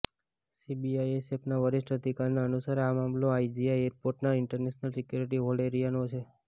સીઆઇએસએફના વરિષ્ઠ અધિકારીના અનુસાર આ મામલો આઇજીઆઇ એરપોર્ટના ઇન્ટરનેશનલ સિક્યોરિટી હોલ્ડ એરિયાનો છે